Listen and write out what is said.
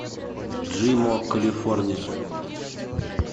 джимо калифорния